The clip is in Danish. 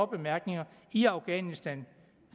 bemærkninger i afghanistan